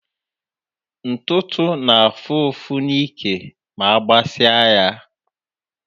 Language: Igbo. Ntụtụ na-afú ụfụ n'ike ma agbasi á ya.